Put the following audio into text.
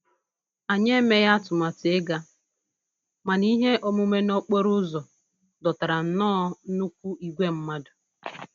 Anyị emeghị atụmatụ ịga, mana ihe omume n'okporo ụzọ dọtara nnọọ nnukwu ìgwè mmadụ